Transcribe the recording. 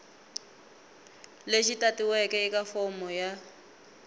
lexi tatiweke eka fomo ya